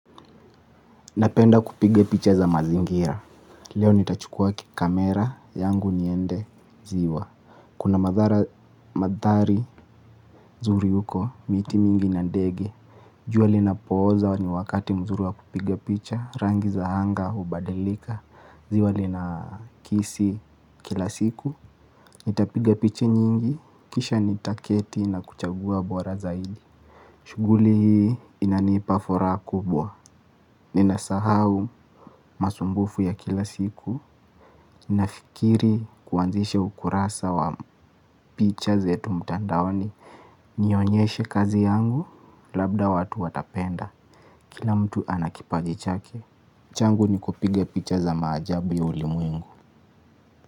Napenda kupiga picha za mazingira. Leo nitachukua kamera yangu niende ziwa. Kuna mandhari zuri huko, miti mingi na ndege. Jua linapoza ni wakati mzuri wa kupiga picha. Rangi za anga hubadilika. Ziwa linakisi kila siku. Nitapiga picha nyingi, kisha nitaketi na kuchagua bora zaidi. Shughuli hii inanipa furaha kubwa. Ninasahau masumbufu ya kila siku. Ninafikiri kuanzisha ukurasa wa picha zetu mtandaoni. Nionyeshe kazi yangu labda watu watapenda. Kila mtu ana kipaji chake. Changu ni kupiga picha za maajabu ya ulimwengu.